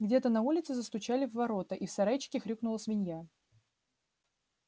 где-то на улице застучали в ворота и в сарайчике хрюкнула свинья